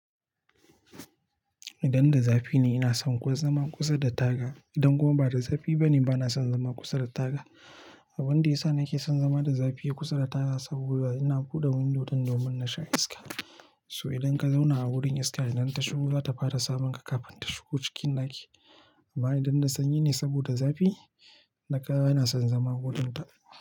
Idan da zafi ne, ina son kuwa zama kusa da taga. Idan kuma ba da zafi ba ne, bana son zama kusa da taga. Abunda yasa nake son zama da zafi kusa da taga saboda ina buɗe window don domin na sha iska. So idan ka zauna a wurin iska idan ta shigo, za ta fara sabonka kafin ta shigo cikin ɗaki. Amma idan da sanyi ne saboda zafi, naka yana son zama godan ta.